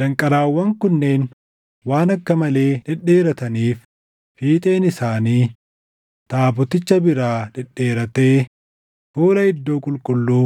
Danqaraawwan kunneen waan akka malee dhedheerataniif fiixeen isaanii taaboticha biraa dhedheerattee fuula Iddoo Qulqulluu